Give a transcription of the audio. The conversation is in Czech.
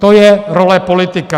To je role politika.